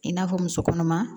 I n'a fɔ muso kɔnɔma